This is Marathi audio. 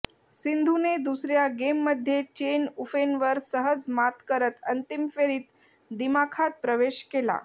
सिंधूने दुसर्या गेममध्ये चेन युफेनवर सहज मात करत अंतिम फेरीत दिमाखात प्रवेश केला